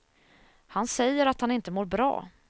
Han säger att han inte mår bra.